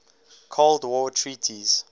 cold war treaties